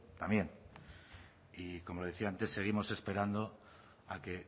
también y como le decía antes seguimos esperando a que